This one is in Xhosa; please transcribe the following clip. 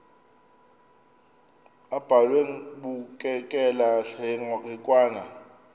abhalwe bukekela hekwane